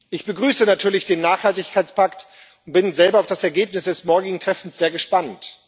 Ich begrüße natürlich den Nachhaltigkeitspakt und bin selber auf das Ergebnis des morgigen Treffens sehr gespannt.